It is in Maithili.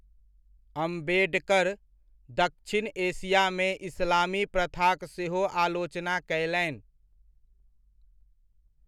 अम्बेडकर दक्षिण एशियामे इस्लामी प्रथाक सेहो आलोचना कयलनि।